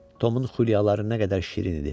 Tomun xülyaları nə qədər şirin idi!